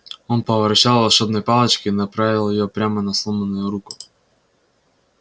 он повращал волшебной палочкой и направил её прямо на сломанную руку